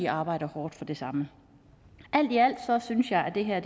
arbejder hårdt for det samme alt i alt synes jeg at det her